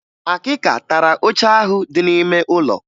Akịka tara oche ahụ dị n'ime ụlọ